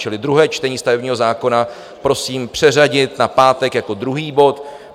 Čili druhé čtení stavebního zákona prosím přeřadit na pátek jako druhý bod.